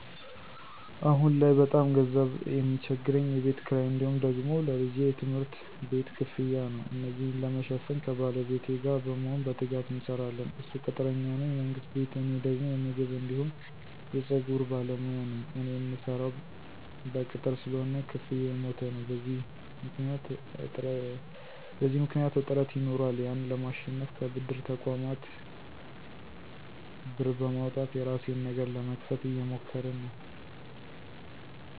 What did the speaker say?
አሁን ላይ በጣም ገንዘብ ሚቸግረኝ የቤት ክራይ እንዲሁም ደግሞ ለልጄ የትምህርት ቤት ክፍያ ነው። እነዚን ለመሸፈን ከባለቤቴ ጋር በመሆን በትጋት እንሰራለን እሱ ቅጥረኛ ነው የመንግስት ቤት እኔ ደግሞ የምግብ አንዲሁም የፀጉር ባለሞያ ነኝ። እኔ ምሰራው በቅጥር ስለሆነ ክፍያው የሞተ ነው። በዚህ ምክኒያት እጥረት ይኖራል ያን ለማሸነፍ ከብድር ተቆማት ብር በማውጣት የራሴን ነገር ለመክፈት እየሞከርን ነው።